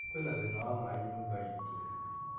Kwĩna thĩna wa maĩ nyũmba itũ.